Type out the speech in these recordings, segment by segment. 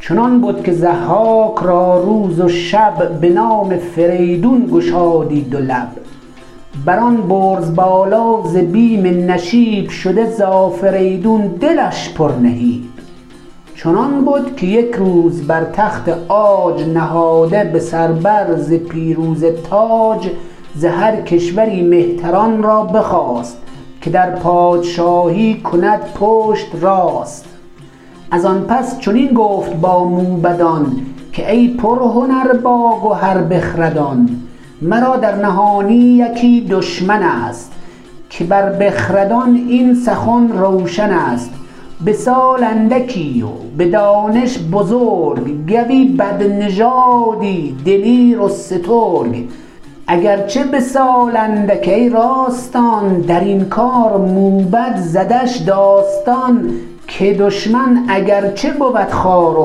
چنان بد که ضحاک را روز و شب به نام فریدون گشادی دو لب بر آن برز بالا ز بیم نشیب شده ز آفریدون دلش پر نهیب چنان بد که یک روز بر تخت عاج نهاده به سر بر ز پیروزه تاج ز هر کشوری مهتران را بخواست که در پادشاهی کند پشت راست از آن پس چنین گفت با موبدان که ای پرهنر باگهر بخردان مرا در نهانی یکی دشمن ست که بر بخردان این سخن روشن است به سال اندکی و به دانش بزرگ گوی بدنژادی دلیر و سترگ اگر چه به سال اندک ای راستان درین کار موبد زدش داستان که دشمن اگر چه بود خوار و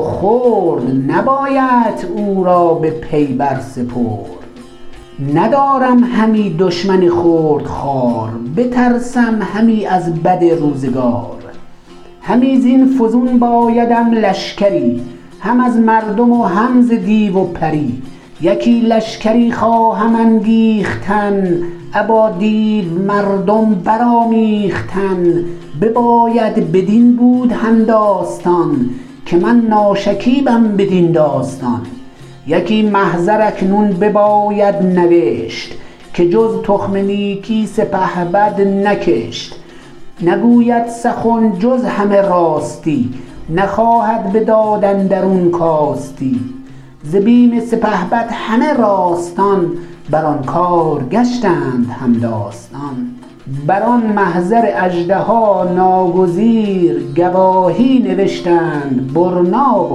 خرد نبایدت او را به پی بر سپرد ندارم همی دشمن خرد خوار بترسم همی از بد روزگار همی زین فزون بایدم لشکری هم از مردم و هم ز دیو و پری یکی لشگری خواهم انگیختن ابا دیو مردم برآمیختن بباید بدین بود هم داستان که من ناشکیبم بدین داستان یکی محضر اکنون بباید نوشت که جز تخم نیکی سپهبد نکشت نگوید سخن جز همه راستی نخواهد به داد اندرون کاستی ز بیم سپهبد همه راستان بر آن کار گشتند هم داستان بر آن محضر اژدها ناگزیر گواهی نوشتند برنا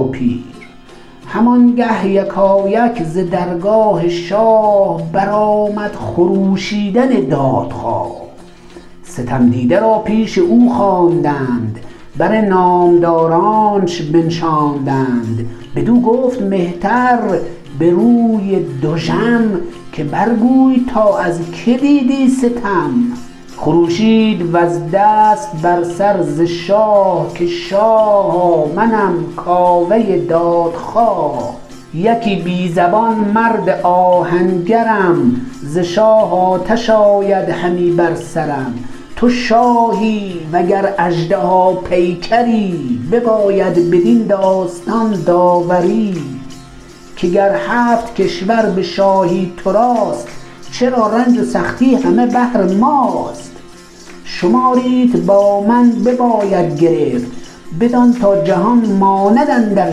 و پیر هم آنگه یکایک ز درگاه شاه برآمد خروشیدن دادخواه ستم دیده را پیش او خواندند بر نامدارانش بنشاندند بدو گفت مهتر به روی دژم که بر گوی تا از که دیدی ستم خروشید و زد دست بر سر ز شاه که شاها منم کاوه دادخواه یکی بی زیان مرد آهنگرم ز شاه آتش آید همی بر سرم تو شاهی و گر اژدها پیکری بباید بدین داستان داوری که گر هفت کشور به شاهی تو راست چرا رنج و سختی همه بهر ماست شماریت با من بباید گرفت بدان تا جهان ماند اندر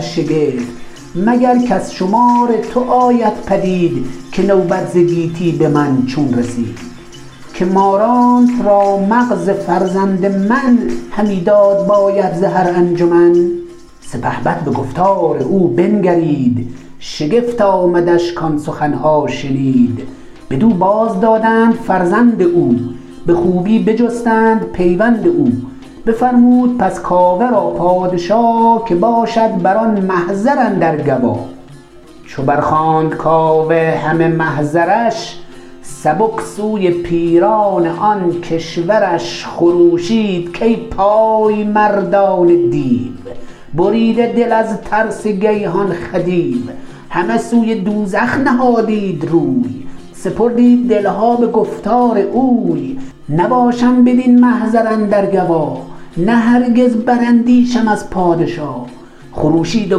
شگفت مگر کز شمار تو آید پدید که نوبت ز گیتی به من چون رسید که مارانت را مغز فرزند من همی داد باید ز هر انجمن سپهبد به گفتار او بنگرید شگفت آمدش کآن سخن ها شنید بدو باز دادند فرزند او به خوبی بجستند پیوند او بفرمود پس کاوه را پادشا که باشد بران محضر اندر گوا چو بر خواند کاوه همه محضرش سبک سوی پیران آن کشورش خروشید کای پای مردان دیو بریده دل از ترس گیهان خدیو همه سوی دوزخ نهادید روی سپردید دل ها به گفتار اوی نباشم بدین محضر اندر گوا نه هرگز براندیشم از پادشا خروشید و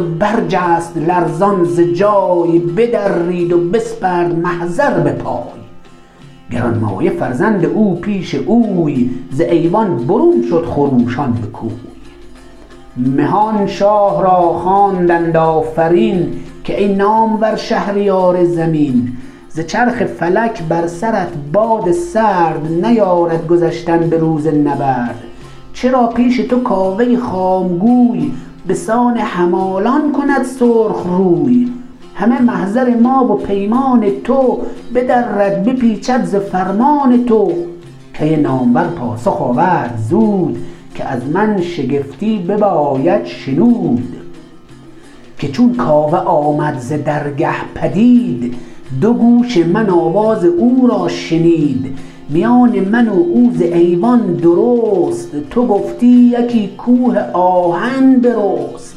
برجست لرزان ز جای بدرید و بسپرد محضر به پای گرانمایه فرزند او پیش اوی ز ایوان برون شد خروشان به کوی مهان شاه را خواندند آفرین که ای نامور شهریار زمین ز چرخ فلک بر سرت باد سرد نیارد گذشتن به روز نبرد چرا پیش تو کاوه خام گوی به سان همالان کند سرخ روی همه محضر ما و پیمان تو بدرد بپیچد ز فرمان تو کی نامور پاسخ آورد زود که از من شگفتی بباید شنود که چون کاوه آمد ز درگه پدید دو گوش من آواز او را شنید میان من و او ز ایوان درست تو گفتی یکی کوه آهن برست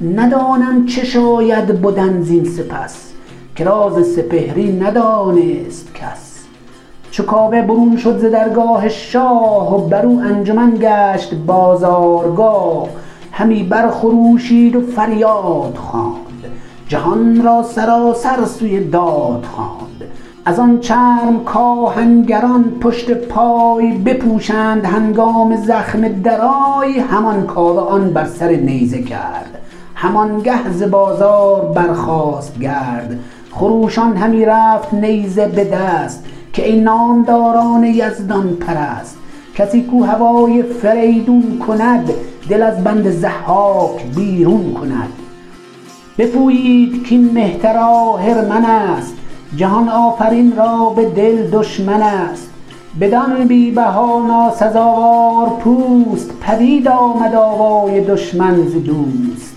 ندانم چه شاید بدن زین سپس که راز سپهری ندانست کس چو کاوه برون شد ز درگاه شاه برو انجمن گشت بازارگاه همی بر خروشید و فریاد خواند جهان را سراسر سوی داد خواند از آن چرم کآهنگران پشت پای بپوشند هنگام زخم درای همان کاوه آن بر سر نیزه کرد همان گه ز بازار برخاست گرد خروشان همی رفت نیزه به دست که ای نامداران یزدان پرست کسی کاو هوای فریدون کند دل از بند ضحاک بیرون کند بپویید کاین مهتر آهرمن است جهان آفرین را به دل دشمن است بدان بی بها ناسزاوار پوست پدید آمد آوای دشمن ز دوست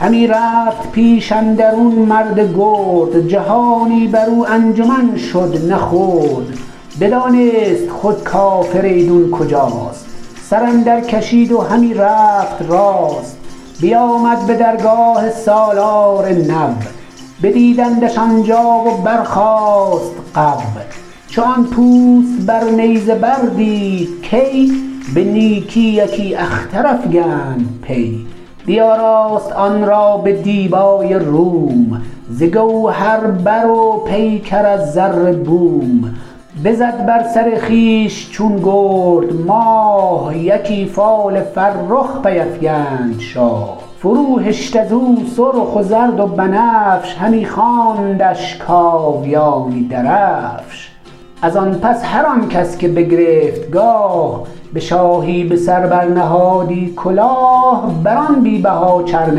همی رفت پیش اندرون مرد گرد جهانی برو انجمن شد نه خرد بدانست خود کافریدون کجاست سر اندر کشید و همی رفت راست بیامد به درگاه سالار نو بدیدندش آن جا و برخاست غو چو آن پوست بر نیزه بر دید کی به نیکی یکی اختر افگند پی بیاراست آن را به دیبای روم ز گوهر بر و پیکر از زر بوم بزد بر سر خویش چون گرد ماه یکی فال فرخ پی افکند شاه فرو هشت ازو سرخ و زرد و بنفش همی خواندش کاویانی درفش از آن پس هر آن کس که بگرفت گاه به شاهی به سر بر نهادی کلاه بر آن بی بها چرم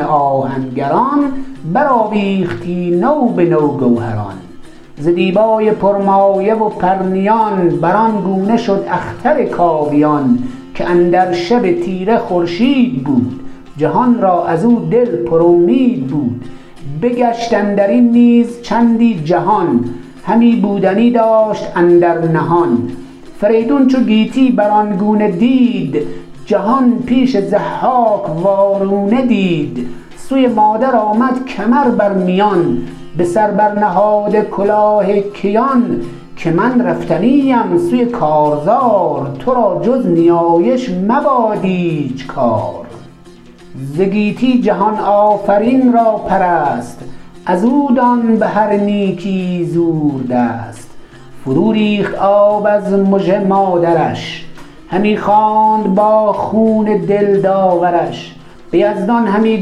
آهنگران برآویختی نو به نو گوهران ز دیبای پرمایه و پرنیان بر آن گونه شد اختر کاویان که اندر شب تیره خورشید بود جهان را ازو دل پر امید بود بگشت اندرین نیز چندی جهان همی بودنی داشت اندر نهان فریدون چو گیتی بر آن گونه دید جهان پیش ضحاک وارونه دید سوی مادر آمد کمر بر میان به سر بر نهاده کلاه کیان که من رفتنی ام سوی کارزار تو را جز نیایش مباد ایچ کار ز گیتی جهان آفرین را پرست ازو دان بهر نیکی زور دست فرو ریخت آب از مژه مادرش همی خواند با خون دل داورش به یزدان همی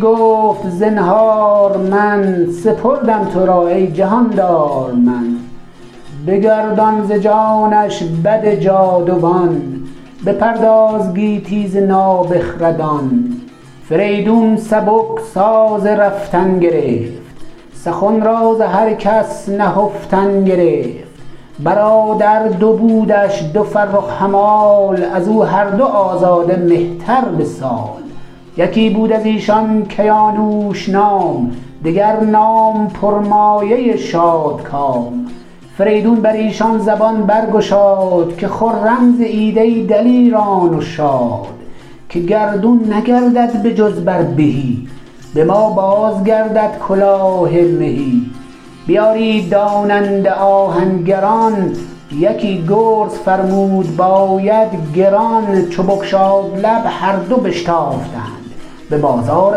گفت زنهار من سپردم تو را ای جهاندار من بگردان ز جانش بد جاودان بپرداز گیتی ز نابخردان فریدون سبک ساز رفتن گرفت سخن را ز هر کس نهفتن گرفت برادر دو بودش دو فرخ همال ازو هر دو آزاده مهتر به سال یکی بود ازیشان کیانوش نام دگر نام پرمایه شادکام فریدون بریشان زبان برگشاد که خرم زیید ای دلیران و شاد که گردون نگردد به جز بر بهی به ما بازگردد کلاه مهی بیارید داننده آهنگران یکی گرز فرمود باید گران چو بگشاد لب هر دو بشتافتند به بازار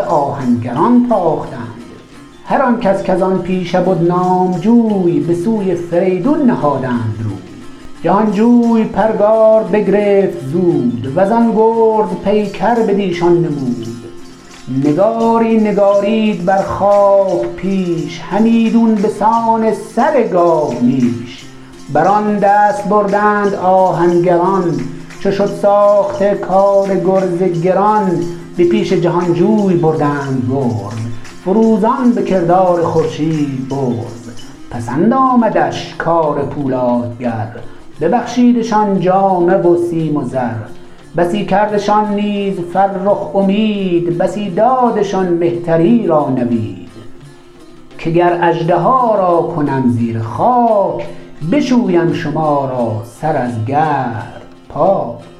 آهنگران تاختند هر آن کس کز آن پیشه بد نام جوی به سوی فریدون نهادند روی جهان جوی پرگار بگرفت زود وزان گرز پیکر بٕدیشان نمود نگاری نگارید بر خاک پیش همیدون به سان سر گاومیش بر آن دست بردند آهنگران چو شد ساخته کار گرز گران به پیش جهان جوی بردند گرز فروزان به کردار خورشید برز پسند آمدش کار پولادگر ببخشیدشان جامه و سیم و زر بسی کردشان نیز فرخ امید بسی دادشان مهتری را نوید که گر اژدها را کنم زیر خاک بشویم شما را سر از گرد پاک